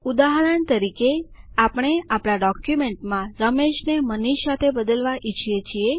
ઉદાહરણ તરીકે આપણે આપણા ડોક્યુમેન્ટમાં Rameshને મનીષ સાથે બદલવા ઈચ્છીએ છીએ